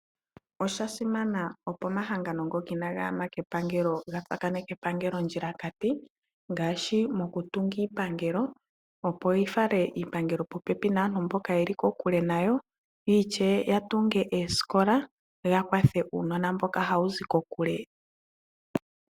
Oshasimana opo omahangano ngoka inaga yama kepangelo ga tsakaneke epangelo ondjilakati ngaashi mokutunga iipangelo opo yi fale iipangelo popepi naantu mboka yeli kokule nayo ,yo ishewe ya tunge oosikola ya kwathele uunona mboka hawuzi kokule.